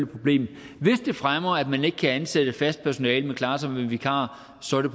problem hvis det fremmer at man ikke kan ansætte fast personale men må klare sig med vikarer så er det